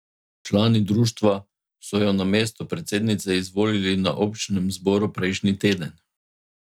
Člani društva so jo na mesto predsednice izvolili na občnem zboru prejšnji teden.